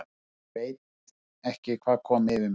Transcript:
ÉG VEIT ekki hvað kom yfir mig.